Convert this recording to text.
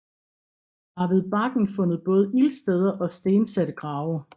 Der er ved bakken fundet både ildsteder og stensatte grave